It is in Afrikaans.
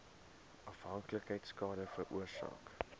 afhanklikheid skade veroorsaak